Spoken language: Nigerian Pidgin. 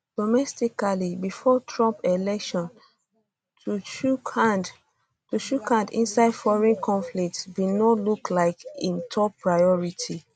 domestically before trump election to chook hand chook hand inside foreign conflicts bin no look like im top priority